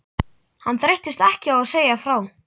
Hann þreyttist ekki á að segja frá